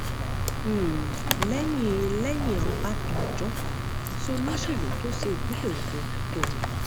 um lẹyìn lẹyìn ọbadànjọ kò sí olóṣèlú tó sin ìpínlẹ ogun tó mì um